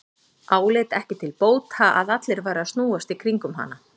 Áleit ekki til bóta að allir væru að snúast í kringum hana.